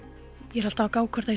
ég er alltaf að gá hvort